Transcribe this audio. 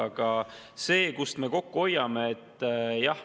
Aga kust me kokku hoiame?